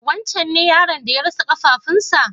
Wancen ne yaron da ya rasa ƙafafuwan sa?